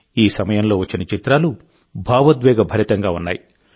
ఈ సమయంలో వచ్చిన చిత్రాలు భావోద్వేగభరితంగా ఉన్నాయి